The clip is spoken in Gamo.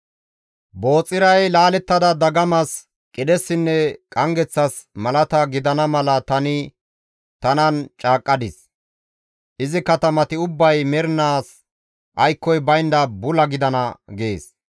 Booxiray laalettada dagamas, qidhessinne qanggeththas malata gidana mala tani tanan caaqqadis; izi katamati ubbay mernaas aykkoy baynda bula gidana» gees.